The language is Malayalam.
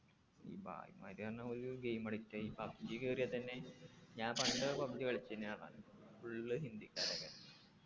ഈ ഭായിമാരിക്കെന്നെ ഒരു game addict ആ ഈ pubg കേറിയ തന്നെ ഞാൻ പണ്ട് pubg കളിച്ചിന് ആഹ് full ഹിന്ദിക്കാരെന്നെ